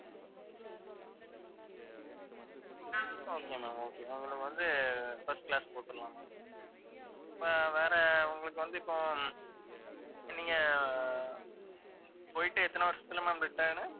okay ma'am okay உங்களுக்கு வந்து first class போட்டுறலாம் ma'am இப்ப வேற உங்களுக்கு வந்து இப்போ நீங்க போயிட்டு எத்தன வருஷத்தில ma'am return